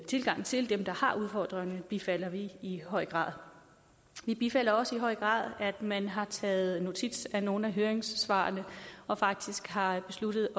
tilgang til dem der har udfordringer bifalder vi i høj grad vi bifalder også i høj grad at man har taget notits af nogle af høringssvarene og faktisk har besluttet